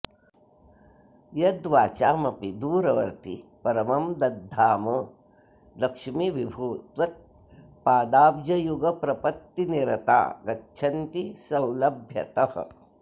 यद्वाचामपि दूरवर्ति परमं दद्धाम लक्ष्मीविभो त्वत्पादाब्जयुगप्रपत्तिनिरता गच्छन्ति सौलभ्यतः